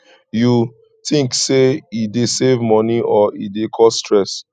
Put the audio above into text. you think say e dey save money or e dey cause stress